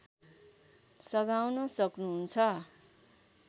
सघाउन सक्नु हुन्छ